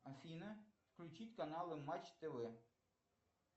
афина включить каналы матч тв